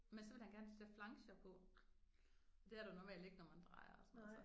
Men så ville han gerne sætte flanger på. Det er der normalt ikke når man drejer og sådan noget så